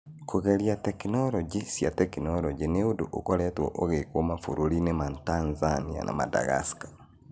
Kũgeria tekinoronjĩ cia tekinoronjĩ nĩ ũndũ ũkoretwo ũgĩkwo mabũrũri-inĩ ma Tanzania na Madagascar.